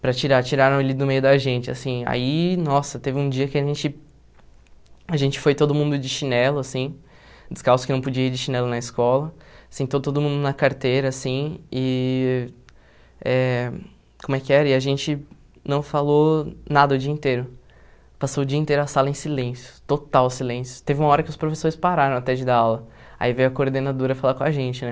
para tirar, tiraram ele do meio da gente, assim, aí, nossa, teve um dia que a gente, a gente foi todo mundo de chinelo, assim, descalço que não podia ir de chinelo na escola, sentou todo mundo na carteira, assim, e, eh como é que era, e a gente não falou nada o dia inteiro, passou o dia inteiro a sala em silêncio, total silêncio, teve uma hora que os professores pararam até de dar aula, aí veio a coordenadora falar com a gente, né,